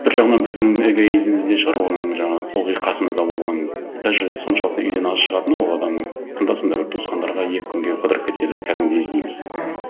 бір жағынан біздің эгоизміміз де шығар оның жаңағы ылғи қасымызда болғаны даже соншалықты үйден аз шығатыны ол адамның анда санда бір туысқандарға екі күнге қыдырып кетсе біз кәдімгідей іздейміз мхм